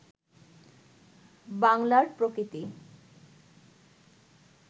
বাংলার প্রকৃতি